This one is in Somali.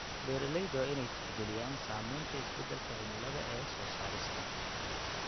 Beeraleyda waa in ay tixgeliyaan saamaynta isbedelka cimilada ee soo saarista.